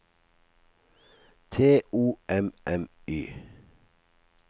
T O M M Y